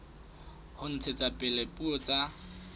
ho ntshetsa pele dipuo tsa